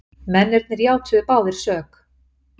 Mennirnir játuðu báðir sök